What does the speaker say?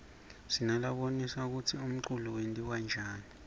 sinalabonisa kutsi umculo wentiwaryani